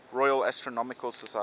royal astronomical society